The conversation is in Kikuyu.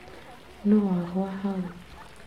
Nũũ wagũa hau